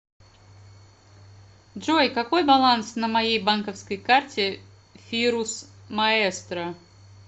джой какой баланс на моей банковской карте фирус маэстро